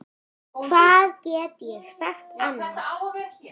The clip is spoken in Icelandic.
Hvað get ég sagt annað?